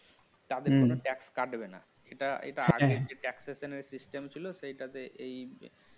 তাদের কোনো TAX কাটবেনা এটা এটা আগে TAX season সেইটাতে